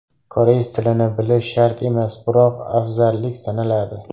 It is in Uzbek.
Koreys tilini bilish shart emas, biroq afzallik sanaladi.